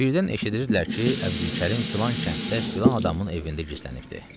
Birdən eşidirdilər ki, Əbdülkərim filan kənddə filan adamın evində gizlənibdir.